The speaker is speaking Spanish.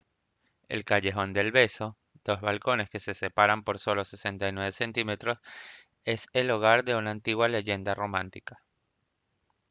el callejón del beso dos balcones que se separan por solo 69 cm es el hogar de una antigua leyenda romántica